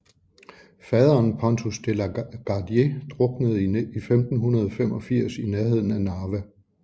Faderen Pontus De la Gardie druknede i 1585 i nærheden af Narva